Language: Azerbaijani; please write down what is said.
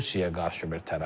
Rusiyaya qarşı bir tərəfdir.